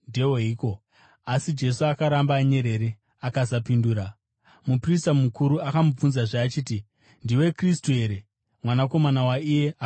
Asi Jesu akaramba anyerere akasapindura. Muprista mukuru akamubvunzazve achiti, “Ndiwe Kristu here, Mwanakomana waIye Akaropafadzwa?”